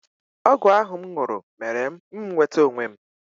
Ọgwụ ahụ m ṅụrụ mere m nweta onwe m.